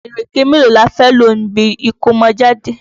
Ìréké mélóò la fé lò níbi ìkómọjáde?